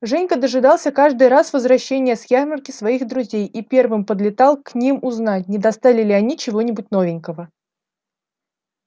женька дожидался каждый раз возвращения с ярмарки своих друзей и первым подлетал к ним узнать не достали ли они чего-нибудь новенького